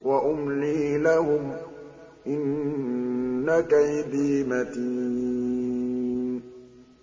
وَأُمْلِي لَهُمْ ۚ إِنَّ كَيْدِي مَتِينٌ